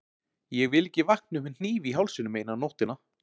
Ég vil ekki vakna upp með hníf í hálsinum eina nóttina.